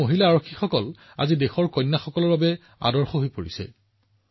মই আশা কৰোঁ যে অধিক সংখ্যক মহিলাই আৰক্ষী সেৱাত যোগদান কৰিব আমাৰ দেশৰ নতুন যুগৰ আৰক্ষীৰ নেতৃত্ব দিব